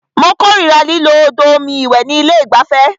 Mó kòrira lílo odò omi ìwẹ̀ ní ilé ìgbafẹ́.